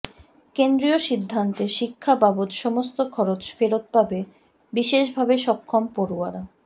কেন্দ্রীয় সিদ্ধান্তে শিক্ষা বাবদ সমস্ত খরচ ফেরত পাবে বিশেষভাবে সক্ষম পড়ুয়ারা